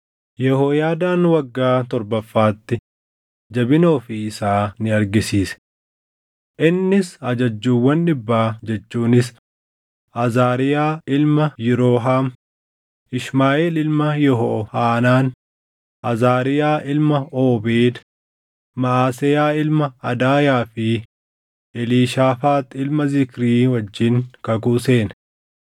Yehooyaadaan waggaa torbaffaatti jabina ofii isaa ni argisiise. Innis ajajjuuwwan dhibbaa jechuunis Azaariyaa ilma Yirooham, Ishmaaʼeel ilma Yehohaanaan, Azaariyaa ilma Oobeed, Maʼaseyaa ilma Adaayaa fi Eliishaafaax ilma Zikrii wajjin kakuu seene.